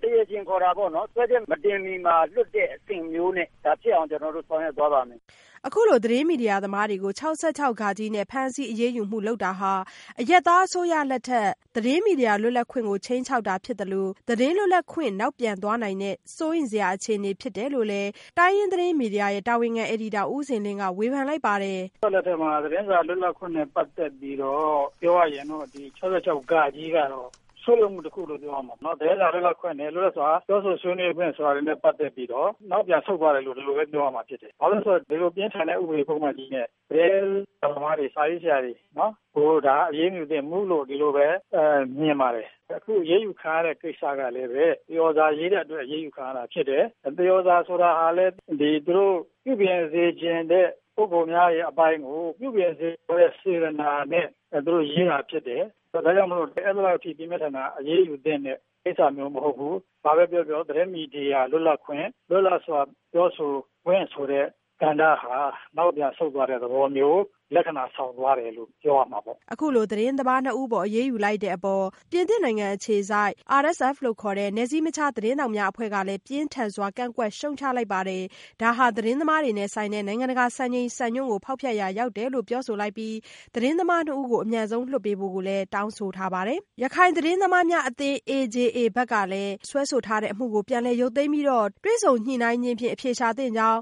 ကို တရားရှင်ခေါ်မှာပေါ့နော် စွဲချက်မတင်မှီမှာလွှတ်တဲ့အဆင့်မျိုးနဲ့ ဖြစ်အောင် ကျနော်တို့ဆောင်ရွက်သွားပါမယ်။” အခုလို သတင်းမီဒီယာသမားတွေကို ၆၆ဃနဲ့ ဖမ်းဆီးအရေးယူမှုတွေ လုပ်တာဟာ အရပ်သားအစိုးရလက်ထက် သတင်းမီဒီယာ လွတ်လပ်ခွင့်ကို ခြိမ်းခြောက်တာဖြစ်သလို သတင်းလွတ်လပ်ခွင့် နောက်ကြောင်းပြန်သွားတဲ့ စိုးရိမ်စရာ အခြေအနေဖြစ်တယ်လို့လည်း တိုင်းရင်းသတင်းမီဒီယာရဲ့ တာဝန်ခံအယ်ဒီတာ ဦးဇင်လင်းက ဝေဖန်လိုက်ပါတယ်။ “အစိုးရလက်ထက်မှာ သတင်းစာလွတ်လပ်ခွင့်နဲ့ပတ်သက်ပြီးတော့ ပြောရရင်တော့ ဒီ ၆၆ဃက ဆုတ်ယုတ်မှုတခုလို့ပြောရမှာပေါ့နော်။ သတင်းစာ လွတ်လပ်ခွင့်နဲ့ လွတ်လပ်စွာပြောဆိုဆွေးနွေးခွင့်ဆိုတာတွေနဲ့ပတ်သက်ပြီးတော့ နောက်ပြန်ဆုတ် သွားတယ်လို့ပြောရမှာဖြစ်တယ်။ ဘာဖြစ်လို့လဲဆိုတော့ ဒီလိုဥပဒေပုဒ်မကြီးနဲ့ သတင်းစာသမားတွေ၊ စာရေးဆရာတွေကို အရေးမယူသင့်ဘူးလို့မြင်ပါတယ်။ အခုအရေးယူခံရတဲ့ကိစ္စကလည်း သရော်စာရေးတဲ့အတွက် အရေးယူခံရတာဖြစ်တယ်။ သရော်စာ ဆိုတာကလည်း သူတို့ ပြုပြင်စေချင်တဲ့ပုဂ္ဂိုလ်များရဲ့အပိုင်းကို ပြုပြင်စေလိုတဲ့စေတနာနဲ့သူတို့ရေးတာဖြစ်တယ်။ ဒါကြောင့် ဒီလိုပြင်းပြင်းထန်ထန် အရေးယူသင့်တဲ့ ကိစ္စမျိုး မဟုတ်ဘူး။ ဒါကြောင့်မို့လို့ သတင်းမီဒီယာလွတ်လပ်ခွင့်၊ လွတ်လပ်စွာပြောဆိုခွင့် ဆိုတဲ့ကဏ္ဍဟာ နောက်ပြန်ဆုတ်သွားတဲ့သဘောမျိုး လက္ခဏာဆောင်သွားတယ်လို့ပြောရမှာပေါ့။” အခုလို သတင်းသမားနှစ်ဦးအပေါ်အရေးယူလိုက်တဲ့အပေါ် ပြင်သစ်အခြေစိုက် နယ်စည်းမခြားသတင်းထောက်များအသင်း RSF က ပြင်းထန်စွာ ကန့်ကွက်ရှုတ်ချလိုက်ပါတယ်။ ဒါဟာ သတင်းသမားတွေနဲ့ဆိုင်တဲ့ နိုင်ငံတကာ စံချိန်စံညွှန်းတွေကို ဖေါက်ဖျက်ရာ ရောက်တယ်လို့ ပြောဆိုလိုက်ပြီး ဒီသတင်းသမား ၂ဦးကို လွှတ်ပေးဖို့ တောင်းဆိုလိုက်ပါတယ်။ ရခိုင်သတင်းသမားများအသင်း AJAဘက်ကလည်း စွဲဆိုထားသည့်အမှုကို ပြန်လည်ရုတ်သိမ်းပြီး တွေ့ဆုံညိနှိုင်းခြင်းဖြင့်အဖြေရှာသင့်ကြောင်း